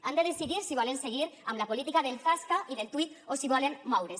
han de decidir si volen seguir amb la política del zasca i del tuit o si volen moure’s